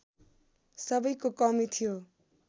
सबैको कमी थियो